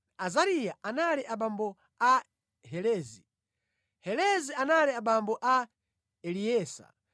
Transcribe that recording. Azariya anali abambo a Helezi, Helezi anali abambo a Eleasa,